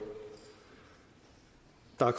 der er